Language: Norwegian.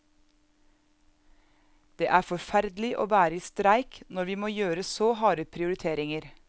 Det er forferdelig å være i streik når vi må gjøre så harde prioriteringer.